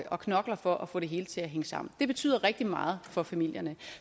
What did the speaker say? og knokler for at få det hele til at hænge sammen det betyder rigtig meget for familierne